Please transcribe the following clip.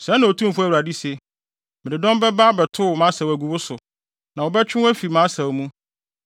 “ ‘Sɛɛ na Otumfo Awurade se: “ ‘Mede dɔm bɛba abɛtow mʼasau agu wo so, na wɔbɛtwe wo afi mʼasau mu.